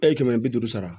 E ye kɛmɛ bi duuru sara